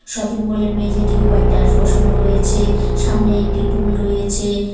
Shopping mall -এর মেঝেটে white tiles বসানো রয়েছে সামনে একটি টুল রয়েছে।